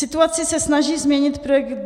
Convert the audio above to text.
Situaci se snaží změnit projekt